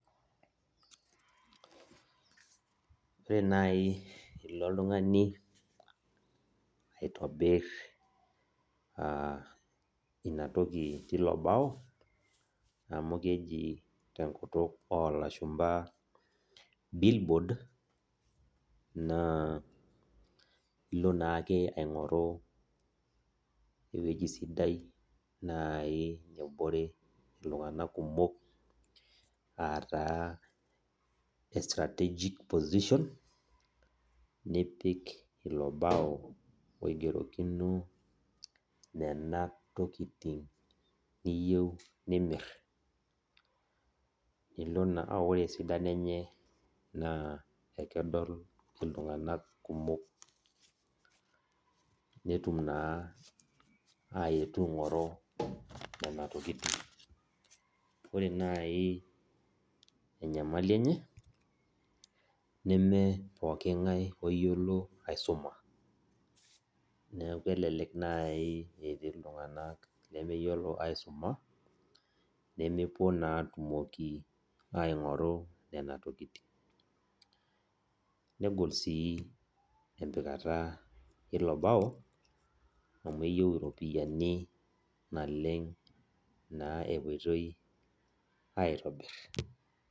Ore nai enilo oltungani aitobir aa inatoki tilo bao amu keji tenkutuk olashumba billboard na ilo naake aingoru ewoi sidai nabore ltunganak kumok etaa strategic position nipik ilo bao oigerokino nona tokitin niyieu nimir ore esidano enye akedol ltunganak kumok netum na ainyangu nona tokitin ore enyamali enye nemepoki ngae oyiolo aisuma ebaki netii ltunganak lemeyiolo aisuma nemepuo na atumoki aingoru nona tokitin negol si empikata ilo bao amu keyieu iropiyiani kumok epoitoi aitobir.